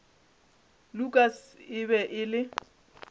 lukas e be e le